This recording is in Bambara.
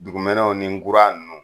Dugumɛnɛw ni nkura nunnu